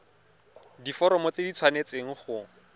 diforomo tse di tshwanesteng go